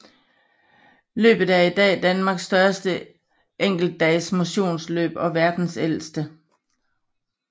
Løbet er i dag Danmarks største enkeltdags motionsløb og verdens ældste